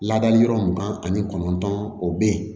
Ladali yɔrɔ mugan ani kɔnɔntɔn o bɛ yen